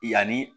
Yanni